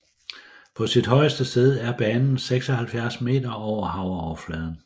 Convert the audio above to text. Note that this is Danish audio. På sit højeste sted er banen 76 meter over vandoverfladen